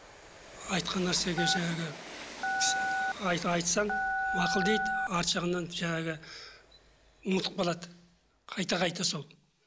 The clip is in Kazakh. айтқан нәрсеге жаңағы айтсаң мақұл дейді арты жағынан жаңағы ұмытып қалады қайта қайта сол